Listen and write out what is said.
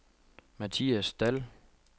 Mathias Dall